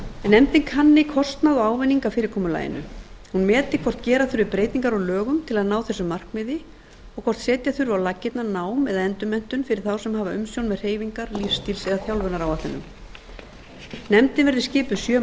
nefndin kanni kostnað og ávinning af fyrirkomulaginu hún meti hvort gera þurfi breytingar á lögum til að ná þessu markmiði og hvort setja þurfi á laggirnar nám eða endurmenntun fyrir þá sem hafa umsjón með hreyfingar lífsstíls eða þjálfunaráætlunum nefndin verði skipuð sjö